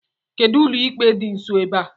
Kedụ ụlọikpe dị nsọ ebe a?